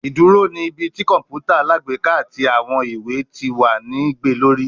Iduro ni ibi ti kọǹpútà alágbèéká ati awọn iwe ti wa ni gbe lori